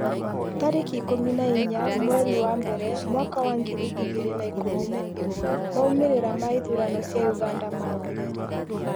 tarĩki ikũmi na inya mweri wa mbere mwaka wa ngiri igĩrĩ na ikũmi na ĩmwemaumĩrĩra ma ithurano cia Uganda maumire rĩ?